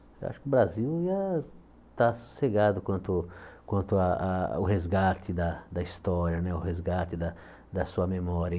Eu acho que o Brasil ia estar sossegado quanto quanto a a o resgate da da história né, o resgate da da sua memória.